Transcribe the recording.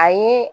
A ye